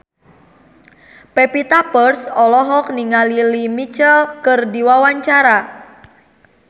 Pevita Pearce olohok ningali Lea Michele keur diwawancara